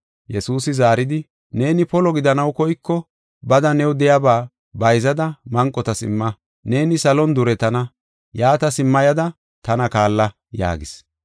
Yesuusi zaaridi, “Neeni polo gidanaw koyko bada new de7iyaba bayzada manqotas imma; neeni salon duretana. Yaata simma yada tana kaalla” yaagis.